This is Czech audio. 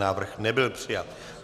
Návrh nebyl přijat.